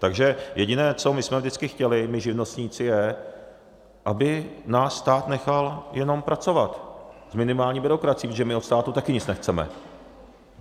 Takže jediné, co my jsme vždycky chtěli, my živnostníci, je, aby nás stát nechal jenom pracovat, s minimální byrokracií, protože my od státu taky nic nechceme.